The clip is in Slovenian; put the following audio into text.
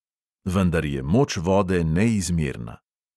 Vendar je moč vode neizmerna.